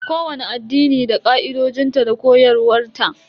Kowani addini da ka'idojinta da koyarwa ta.